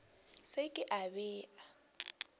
se ke a be a